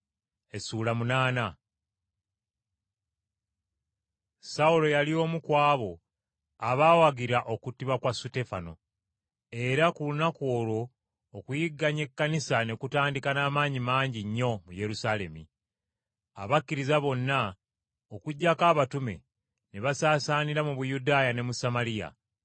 Sawulo yali omu ku abo abaawagira okuttibwa kwa Suteefano. Era ku lunaku olwo okuyigganya Ekkanisa ne kutandika n’amaanyi mangi nnyo mu Yerusaalemi. Abakkiriza bonna, okuggyako abatume, ne basaasaanira mu Buyudaaya ne mu Samaliya.